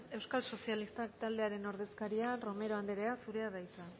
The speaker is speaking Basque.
euskal sozialistak taldearen ordezkaria romero anderea zurea da hitza